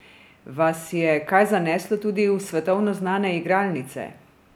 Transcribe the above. Vas je kaj zaneslo tudi v svetovno znane igralnice?